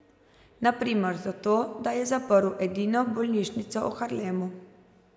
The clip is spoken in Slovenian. Na primer za to, da je zaprl edino bolnišnico v Harlemu.